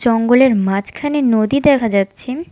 জঙ্গলের মাঝখানে নদী দেখা যাচ্ছে।